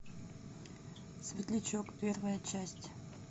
светлячок первая часть